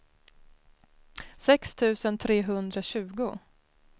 sex tusen trehundratjugo